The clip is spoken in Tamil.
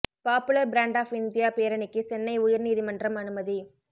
பாப்புலர் ஃப்ரண்ட் ஆஃப் இந்தியா பேரணிக்கு சென்னை உயர் நீதிமன்றம் அனுமதி